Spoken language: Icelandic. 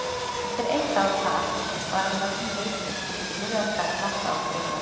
Eftir eitt ár þar var hann látinn laus gegn því skilyrði að hverfa frá Bretlandi.